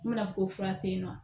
N bɛna fɔ ko fura tɛ yen nɔ